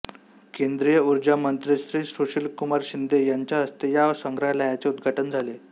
केंद्रीय ऊर्जा मंत्री श्री सुशीलकुमार शिंदे यांच्या हस्ते या संग्रहालयाचे उद्घाटन झाले